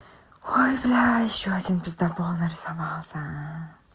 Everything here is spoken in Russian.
ой блядь ещё один пиздабол нарисовался